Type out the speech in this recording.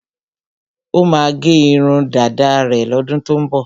Ó máa gẹ irun dáda rẹ̀ lọ́dún tó ń bọ̀.